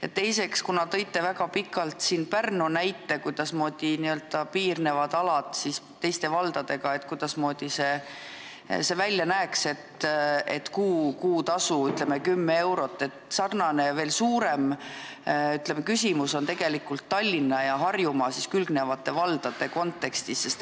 Ja teiseks, kuna te rääkisite väga pikalt siin Pärnu näitel, kus on piirnevad alad teiste valdadega, kuidasmoodi see välja näeks, et on kuutasu, ütleme 10 eurot, siis sarnane veel suurem probleem on tegelikult Tallinna ja temaga külgnevate Harjumaa valdadega.